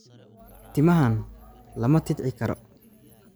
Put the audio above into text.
Timahan lama tidci karo